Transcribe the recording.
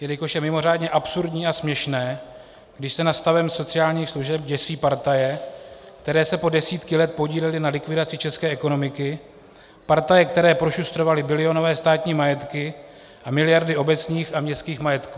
Jelikož je mimořádně absurdní a směšné, když se nad stavem sociálních služeb děsí partaje, které se po desítky let podílely na likvidaci české ekonomiky, partaje, které prošustrovaly bilionové státní majetky a miliardy obecních a městských majetků.